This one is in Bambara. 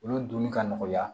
Olu donni ka nɔgɔya